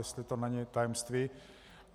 Jestli to není tajemství.